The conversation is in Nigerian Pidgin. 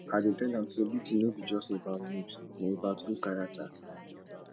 i dey tell am sey beauty no be just about looks na about good character